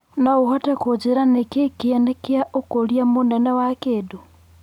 no ũhote kũnjĩira nĩ kĩĩ kĩene Kia ũkũria mũnene wa kĩndũ